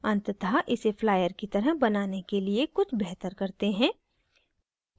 अंततः इसे flyer की तरह बनाने के लिए कुछ बेहतर करते हैं